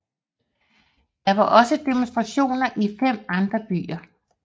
Der var også demonstrationer i fem andre byer